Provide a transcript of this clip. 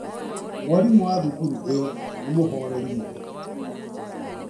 Mwarimũ wa thukuru ĩyo nĩ mũhoreri mũno.